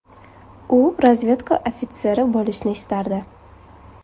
U razvedka ofitseri bo‘lishni istardi.